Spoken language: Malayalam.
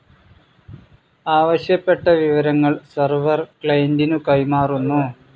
ആവശ്യപ്പെട്ട വിവരങ്ങൾ സെർവർ, ക്ലയിൻ്റിനു കൈമാറുന്നു.